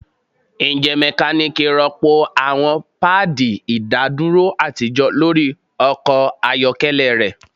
Njẹ mekaniki rọpo awọn paadi idaduro atijọ lori ọkọ ayọkẹlẹ rẹ